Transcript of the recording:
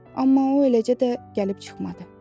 Amma o eləcə də gəlib çıxmadı.